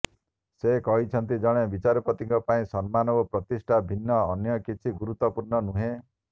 ସେ କହିଛନ୍ତି ଜଣେ ବିଚାରପତିଙ୍କ ପାଇଁ ସମ୍ମାନ ଓ ପ୍ରତିଷ୍ଠା ଭିନ୍ନ ଅନ୍ୟ କିଛି ଗୁରୁତ୍ବପୂର୍ଣ୍ଣ ନୁହେଁ